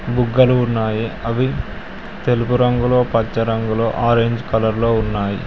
బుగ్గలు ఉన్నాయి అవి తెలుపు రంగులో పచ్చ రంగులో ఆరెంజ్ కలర్ లో ఉన్నాయి.